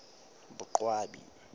boqwabi